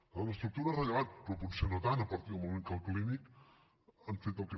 clar l’estructura és rellevant però potser no tant a partir del moment que el clínic han fet el que